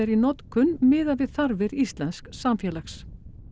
í notkun miðað við þarfir íslensks samfélags